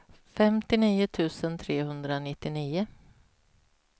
femtionio tusen trehundranittionio